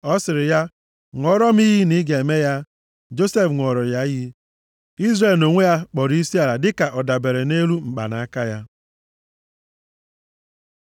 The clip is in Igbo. Ọ sịrị ya, “Ṅụọrọ m iyi na ị ga-eme ya.” Josef ṅụọrọ ya iyi. Izrel nʼonwe ya, kpọrọ isiala dịka ọ dabere nʼelu mkpanaka ya.